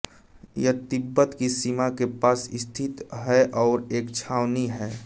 यह तिब्बत की सीमा के पास स्थित है और एक छावनी है